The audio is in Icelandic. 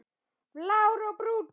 Blár og Brúnn.